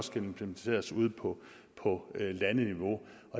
skal implementeres ude på landeniveau